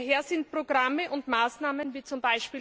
Daher sind Programme und Maßnahmen wie z.